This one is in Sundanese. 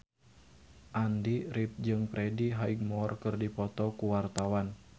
Andy rif jeung Freddie Highmore keur dipoto ku wartawan